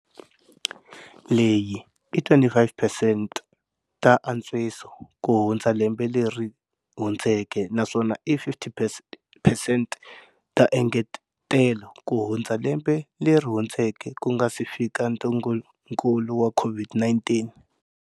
Leyi i 25 percent ta antswiso kuhundza lembe leri hundzeke naswona i 15 percent ta engetelo kuhundza lembe leri hundzeke ku nga si fika ntungukulu wa COVID-19.